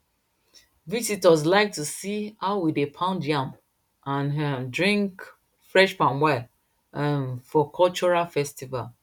visitors like to see how we dey pound yam and um drink fresh palm wine um for cultural festival